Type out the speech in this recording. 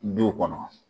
Du kɔnɔ